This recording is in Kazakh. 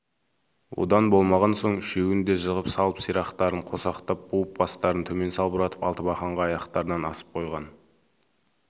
одан болмаған соң үшеуін де жығып салып сирақтарын қосақтап буып бастарын төмен салбыратып алтыбақанға аяқтарынан асып қойған